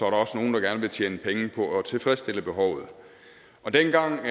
også nogle der gerne vil tjene penge på at tilfredsstille behovet dengang